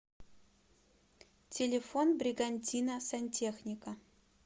телефон бригантина сантехника